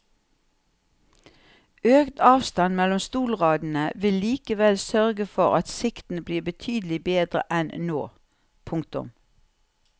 Økt avstand mellom stolradene vil likevel sørge for at sikten blir betydelig bedre enn nå. punktum